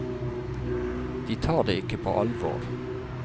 De tar det ikke på alvor.